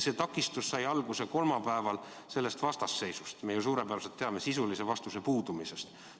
See takistus sai alguse kolmapäeval sellest vastasseisust, me ju suurepäraselt teame, sisulise vastuse puudumisest.